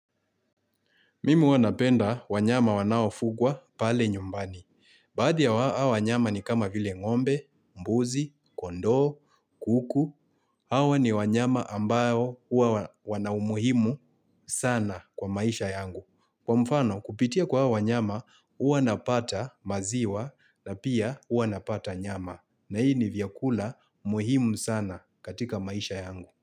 Mimu wanapenda wanyama wanaofugwa pale nyumbani. Badia wanyama ni kama vile ngombe, mbuzi, kondo, kuku. Hawa ni wanyama ambayo wanaumuhimu sana kwa maisha yangu. Kwa mfano kupitia kwa wanyama uanapata maziwa na pia uanapata nyama. Na hii ni vyakula umuhimu sana katika maisha yangu.